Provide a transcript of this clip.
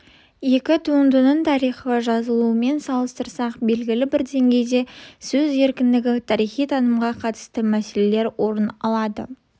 екі туындының тарихи жазылуымен салыстырсақ белгілі бір деңгейде сөз еркіндігі тарихи танымға қатысты мәселелер орын алады